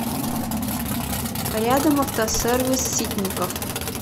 рядом автосервис ситников